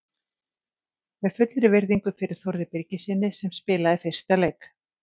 Með fullri virðingu fyrir Þórði Birgissyni sem spilaði fyrsta leik.